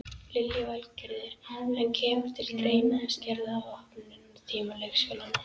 Lillý Valgerður: En kemur til greina að skerða opnunartíma leikskólana?